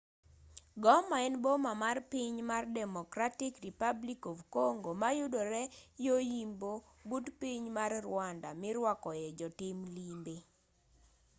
goma en boma mar piny mar democratic republic of congo ma yudore yo yimbo but piny mar rwanda mirwakoe jotim limbe